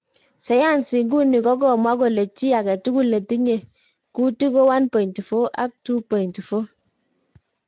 Sayansi iguni kokomwa kole chii aketugul netiyen kuitik ko 1.4 ak 2.4.